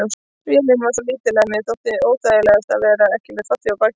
Vélin var svo lítil að mér þótti óþægilegast að vera ekki með fallhlíf á bakinu.